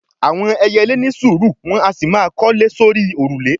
àwọn ẹyẹlé ni sùúrù, wọn a sì máa kọ́lé sórí òrùlé